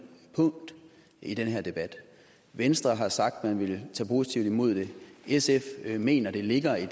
punkt i den her debat venstre har sagt at man ville tage positivt imod det sf mener det ligger i